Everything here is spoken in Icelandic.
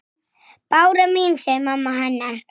Röddin er að bresta.